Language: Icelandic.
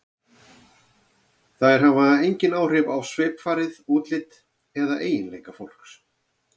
Þær hafa engin áhrif á svipfarið, útlit eða eiginleika fólks.